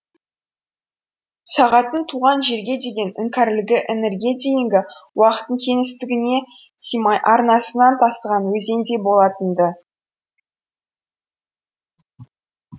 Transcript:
сағаттың туған жерге деген іңкәрлігі іңірге дейінгі уақыттың кеңістігіне сыймай арнасынан тасыған өзендей болатын ды